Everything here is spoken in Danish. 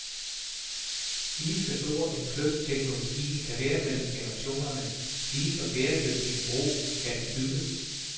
Lige så stor en kløft teknologien kan være mellem generationerne, lige så bæredygtig en bro kan den bygge.